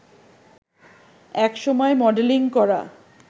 এক সময় মডেলিং করা